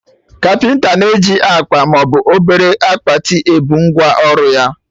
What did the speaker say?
Kapịnta na-eji akpa maọbụ obere akpati ebu ngwa ọrụ ya